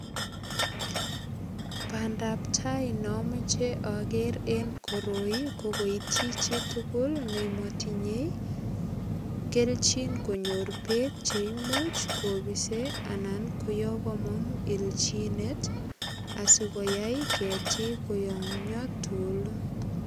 Bandap tai ne amoche ager eng koroi ko koityi chitugul nematinyei keljin konyor beek che imuch kopise anan kongomok ilchinet asigoyai ketiik koyamya tugul.